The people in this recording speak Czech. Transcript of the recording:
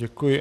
Děkuji.